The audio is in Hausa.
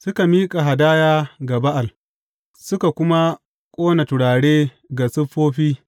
Suka miƙa hadaya ga Ba’al suka kuma ƙona turare ga siffofi.